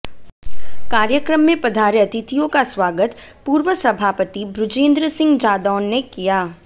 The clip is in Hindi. कार्यक्रम में पधारे अतिथियों का स्वागत पूर्व सभापति बृजेन्द्र सिंह जादौन ने किया